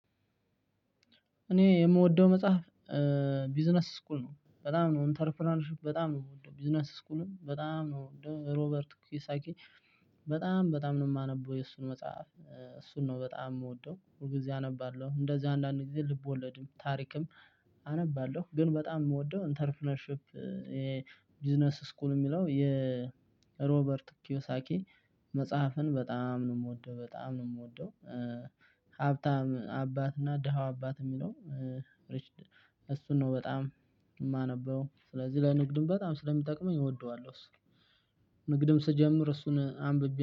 እኔ የምወደው መጽሐፍ ቢዝነስ ስኩል ነው። በጣም ነው ኢንተርፕረነርሽፕ በጣም ነው የምወደው፤ ቢዝነስ ስኩልም በጣም ነው የምወደው፤ ሮበርት ኩይሳኪ በጣም በጣም ነው የማነበው፤ የእሱን መጽሐፍ እሱን ነው በጣም የምወደው ሁል ጊዜ አነባለሁ እንደዚህ አንዳንዴ ልቦለድም ታሪክም አነባለሁ። ግን በጣም የምወደው ኢንተርፕረነርሺፕ የቢዝነስ ስኩል የሚለው የሮበርት ኪዮሳኪ መጽሐፍን በጣም ነው የምወደው፤ በጣም ነው የምወደው፤ ሀብታም አባት እና ደሀው አባት የሚለው ሪችድ እሱን ነው በጣም የማነበው፤ ስለዚህ ለንግድም በጣም ስለሚጠቅመኝ እወደዋለሁ። እሱን ንግድም ስጀምር እሱን አንብቤ